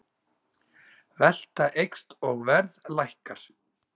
Velta eykst og verð lækkar